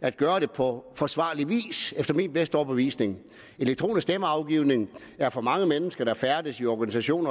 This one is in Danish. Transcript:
at gøre det på forsvarlig vis efter min bedste overbevisning elektronisk stemmeafgivning er for mange mennesker der færdes i organisationer